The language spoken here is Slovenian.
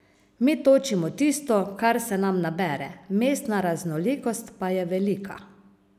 Mi točimo tisto, kar se nam nabere, mestna raznolikost pa je velika.